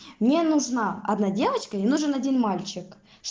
мне нужна одна девочка и нужен один мальчик